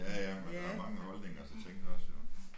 Ja ja men der mange holdninger til ting også jo